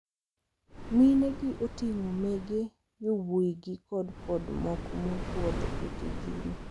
Minegi oting`o mege yowuoyigi to kod moko mopuodh ne tijni.